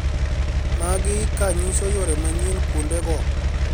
Magi kanyiso yore manyien kuonde go